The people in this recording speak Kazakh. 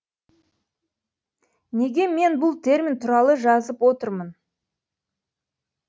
неге мен бұл термин туралы жазып отырмын